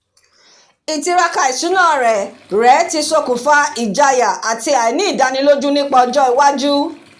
ìtiraka ìṣúná rẹ̀ rẹ̀ tí ṣokùnfà ìjáyà àti àìní ìdánilójú nípa ọjọ́ iwájú